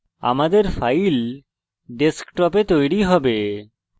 আমাদের file desktop এ তৈরী হবে